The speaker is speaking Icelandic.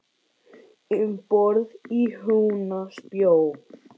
Um borð í Húna spjó.